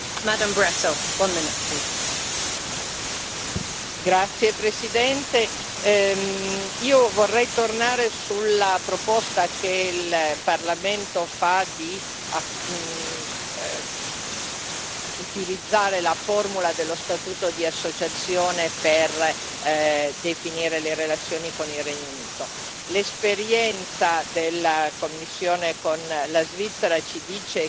Signora Presidente, onorevoli colleghi, vorrei tornare sulla proposta che il Parlamento fa di utilizzare la formula dello statuto di associazione per definire le relazioni con il Regno Unito. L'esperienza della Commissione con la Svizzera ci dice che